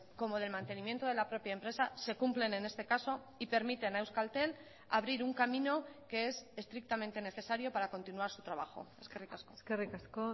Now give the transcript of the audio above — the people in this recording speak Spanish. como del mantenimiento de la propia empresa se cumplen en este caso y permiten a euskaltel abrir un camino que es estrictamente necesario para continuar su trabajo eskerrik asko eskerrik asko